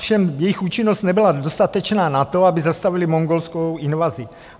Ovšem jejich účinnost nebyla dostatečná na to, aby zastavili mongolskou invazi.